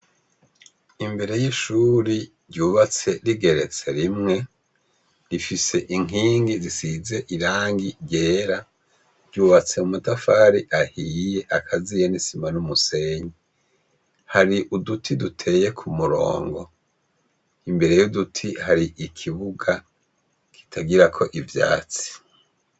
Imbere y'ishuri ryubatse rigoretse rimwe, rifise inkingi zisize irangi ry'era, ryubatse mu matafari ahiye akaziye n'isima n'umusenyi. Hari uduti duteye ku murongo, imbere y'uduti hari ikibuga kitagira ko ivyatsi.